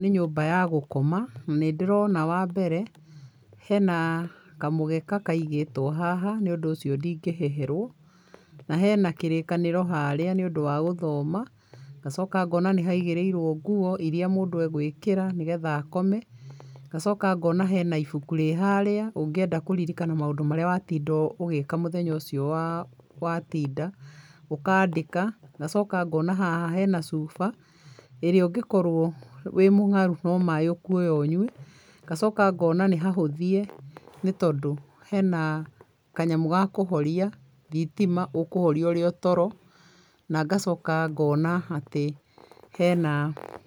Nĩ nyũmba ya gũkoma, nĩ ndĩrona wa mbere hena kamũgeka kaigĩtwo haha nĩũndũ ũcio ndingĩheherwo na hena kĩrĩkanĩro harĩa nĩũndũ wa gũthoma, ngacoka ngona nĩhaigĩrĩirwo nguo iria mũndũ agwĩkĩra nĩgetha akome, ngacoka ngona hena ibuku rĩ harĩa ũngĩenda kũririkana maũndũ marĩa watinda ũgĩka mũthenya ũcio wa watinda, ũkandĩka ngacoka ngona haha hena cuba, ĩrĩa ũngĩkorwo wĩĩ mũngaru no maĩ ũkuoya ũnyue, ngacoka ngona nĩ hahũthie nĩtondũ hena kanyamũ ga kũhoria thitima, ũkũhoria ũrĩ o toro na ngacoka ngona atĩ hena